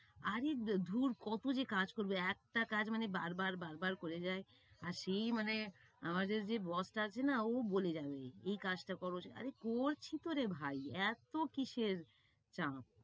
আরে দূ~ দূর কতো যে কাজ করবে, একটা কাজ মানে বারবার বারবার বারবার বারবার করে যায়। আর সেই মানে আমাদের যে boss বস আছে না ও বলে যাবেই। এই কাজটা করো, আরে করছি তোরে ভাই, এত্তো কিসের চাপ?